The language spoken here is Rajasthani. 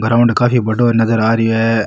ग्राउंड काफी बड़ो नजर आ रो है।